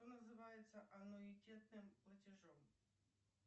что называется аннуитетным платежом